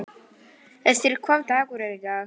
Hersir, hvaða dagur er í dag?